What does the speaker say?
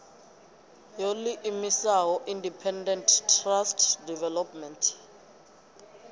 yo ḓiimisaho independent trust development